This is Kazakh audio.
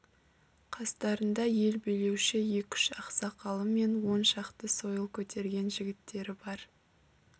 қастарында ел билеуші екі-үш ақсақалы мен он шақты сойыл көтерген жігіттері бар